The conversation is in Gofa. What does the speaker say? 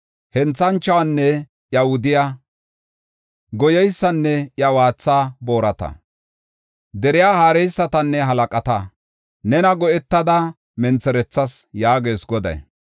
Henthanchuwanne iya wudiya, goyeysanne iya waatha boorata, deriya haareysatanne halaqata nena go7etada mentherethas” yaagees Goday.